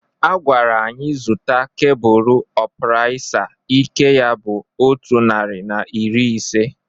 A gwara anyị zụta kebụl ọpraisa ike ya bụ otu nari na iri ise.